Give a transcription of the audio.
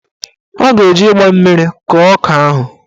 Ọ ga-eji mgba mmiri kọọ ọka ahụ